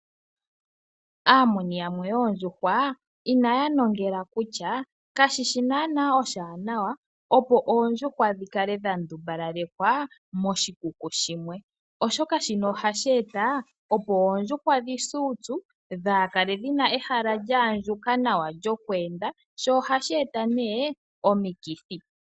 Aamuni yamwe yoondjuhwa inayanongela kutya kashishi naana oshiwana opo oondjuhwa dhi kale dha ndumbalalekwa moshikuku shimwe, oshoka shino ohashi eta opo oondjuhwa dhi se uupyu kadhi kale dhina ehala lyaandjuka nawa lyo ku enda sho ohashi eta omiki.